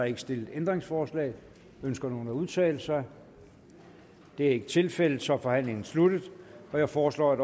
ikke stillet ændringsforslag ønsker nogen at udtale sig det er ikke tilfældet så er forhandlingen sluttet jeg foreslår at